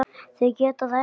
Þau geta það ekki.